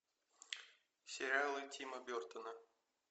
сериалы тима бертона